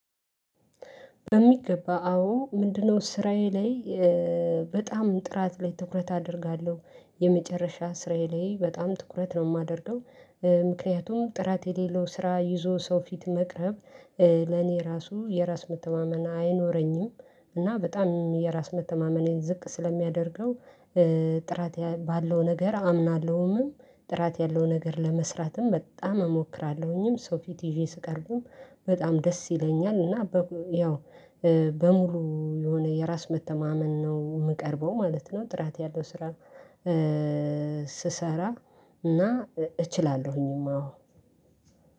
በሚገባ አዎ፣ ምንድነው? ስራዬ ላይ፣ በጣም ጥራት ላይ ትኩረት አደርጋለሁ፣ የመጨረሻ ስራዬ ላይ በጣም ትኩረት ነው የማደርገው ምክንያቱም፣ ጥራት የሌለው ስራ ይዞ ሰው ፊት መቅረብ። ለኔ ራሱ የራስ መተማመን አይኖረኝም፣ እና በጣም የራስ መተማመኔን ዝቅ ስለሚያደርገው። ጥራት ባለው ነገር አምናለሁምም፣ ጥራት ያለው ነገር ለመስራትም በጣም እሞክራለሁኝም፣ ሰው ፊት ይዤ ስቀርቡም በጣም ደስ ይለኛል፣ እና ያው በሙሉ የሆነ የራስ መተማመን ነው የምቀርበው ማለት ነው፣ ጥራት ያለው ስራ ስሰራ እና እችላለሁኝማ፣ አዎ።